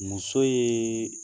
Muso ye